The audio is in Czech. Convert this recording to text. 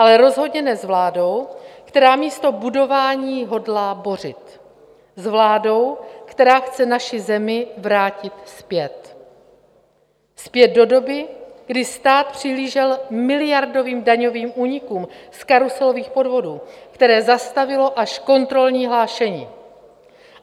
Ale rozhodně ne s vládou, která místo budování hodlá bořit, s vládou, která chce naši zemi vrátit zpět - zpět do doby, kdy stát přihlížel miliardovým daňovým únikům z karuselových podvodů, které zastavilo až kontrolní hlášení.